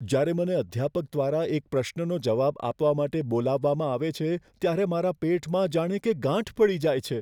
જ્યારે મને અધ્યાપક દ્વારા એક પ્રશ્નનો જવાબ આપવા માટે બોલાવવામાં આવે છે ત્યારે મારા પેટમાં જાણે કે ગાંઠ પડી જાય છે.